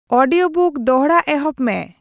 audiobook ᱫᱚᱲᱦᱟ ᱮᱦᱚᱵ ᱢᱮ